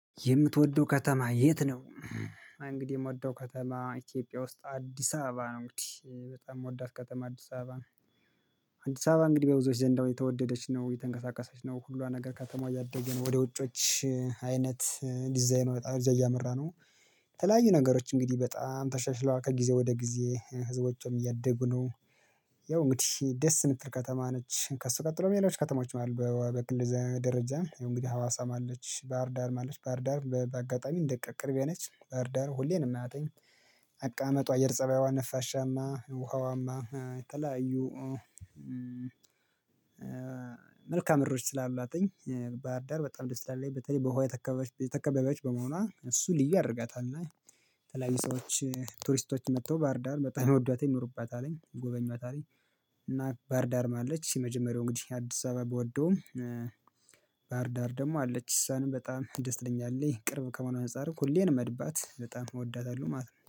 የምትወደው ከተማ የት ነው? እንግዲህ የምወደው ከተማ ኢትዮጵያ ውስጥ አዲስ አበባ ነው። እንግዲህ በጣም የምወዳት ከተማ አዲስ አበባ አዲስ አበባ እንግዲህ በብዙዎች ዘንዳው የተወደደች ነው የተንቀሳቀሰች ነው ሁሉ ነገር ከተማው ያደገን ወደ ውጮች አይነት ዲዛይኑ ወደእዛ እያመራነው። የተለያዩ ነገሮች እንግዲህ በጣም ተሻሽለዋል ከጊዜ ወደ ጊዜ ህዝቦችም እያደጉ ነው። ያው እንግዲህ ደስ እምትል ከተማ ነች። ከእሱ ቀጥሎ የሚለው ከተማዎች ማለት በግል ደረጃ የእንግዲህ ሀዋሳ ማለት ባህርዳር ማለት ባህርዳር በአጋጣሚ እንደ ቅርቤ የነች ባህርዳር ሁሌንም አተኝ። አቃመጧ አየር ፀባይዋን ነፋሻማ ውሃዋማ የተለያዩ። መልካም እሮች ስላላትኝ ባህርዳር በጣም ደስ ይላል። በተለይ በውሃ ተከባቢዎች በመሆኗ እሱ ልዩ አድርገታል እና። የተለያዩ ሰዎች ቱሪስቶች መጥተው ባርዳር በጣም ወዷት ይኖሩባታል አለኝ ጎበኟት አለኝ። እና ባርዳርም አለች እሺ መጀመሪያው እንግዲህ አዲስ አበባ ብወደውም። ባህርዳር ደግሞ አለች እሷንም በጣም ደስ ትለኛለች ቅርብ ከሆነ አንፃርም ሁሌን መድባት በጣም እወዳታለሁ ማለት ነው